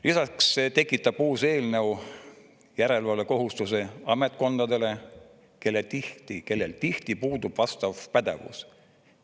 Lisaks tekitab uus eelnõu järelevalvekohustuse ametkondadele, kellel tihti puudub vastav pädevus.